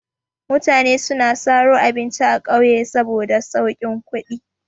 Mutane suna saro abinci a ƙauye saboda saukin kuɗi.